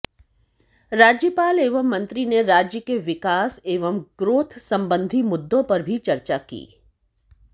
राज्यपाल एवं मंत्री ने राज्य के विकास एवं ग्रोथ सम्बंधी मुद्दों पर भी चर्चा की